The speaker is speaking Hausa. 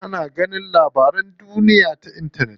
Ana ganin labarun duniya ta intanet.